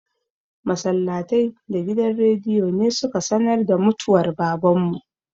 Masallatai da gidan rediyo ne su ka sanar da mutwar Baban mu.